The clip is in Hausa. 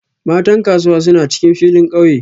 Matan Kasuwa suna cikin filin kauye